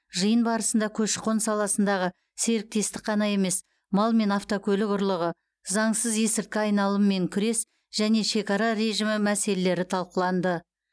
жиын барысында көші қон саласындағы серіктестік қана емес мал мен автокөлік ұрлығы заңсыз есірткі айналымымен күрес және шекара режімі мәселелері талқыланды